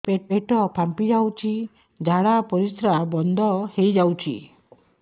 ପେଟ ଫାମ୍ପି ଯାଉଛି ଝାଡା ପରିଶ୍ରା ବନ୍ଦ ହେଇ ଯାଉଛି